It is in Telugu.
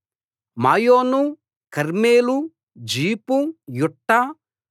మాయోను కర్మెలు జీఫు యుట్టా